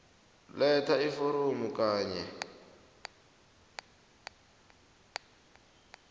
letha iforomo kanye